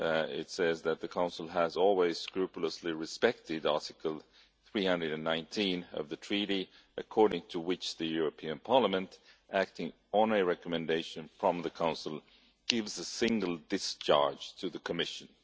It says that the Council has always scrupulously respected Article 319 of the Treaty according to which the European Parliament, acting on a recommendation from the Council, gives a single discharge to the Commission.